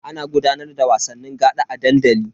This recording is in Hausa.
Ana gudanar da wasanni gaɗa a dandali.